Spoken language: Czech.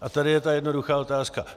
A tady je ta jednoduchá otázka.